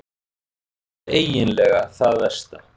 Það er eiginlega það versta.